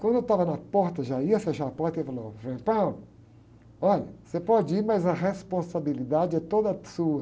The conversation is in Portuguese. Quando eu estava na porta, já ia fechar a porta, ele falou, ôh, frei, olha, você pode ir, mas a responsabilidade é toda sua.